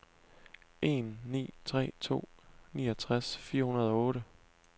en ni tre to niogtres fire hundrede og otte